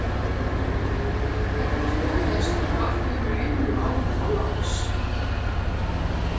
En hvernig fannst Jóhanni að stýra allt í einu liðinu, án Þorláks?